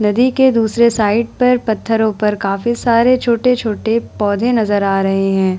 नदी के दुसरे साइड पर पत्थरो पर काफी सारे छोटे-छोटे पौधे नजर आ रहे हैं ।